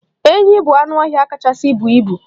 Enyi bụ anụ ọhịa kachasị buo ibu.